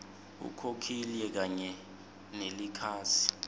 ukhokhile kanye nelikhasi